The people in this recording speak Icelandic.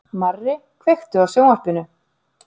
Marri, kveiktu á sjónvarpinu.